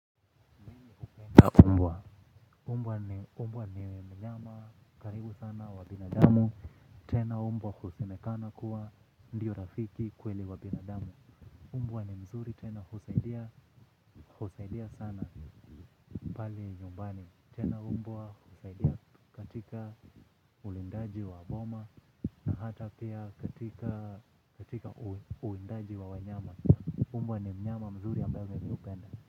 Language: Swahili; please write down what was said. Umbwa ni mnyama karibu sana wa binadamu. Tena umbwa usemekana kuwa ndio rafiki kweli wa binadamu. Umbwa ni mzuri tena husaidia sana pale nyumbani. Tena umbwa husaidia katika ulindaji wa boma na hata pia katika uindaji wa wanyama. Umbwa ni mnyama mzuri ambaye mimi hupenda.